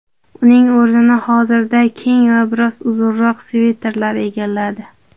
Uning o‘rnini hozirda keng va biroz uzunroq sviterlar egalladi.